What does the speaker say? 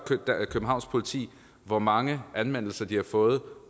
københavns politi hvor mange anmeldelser de har fået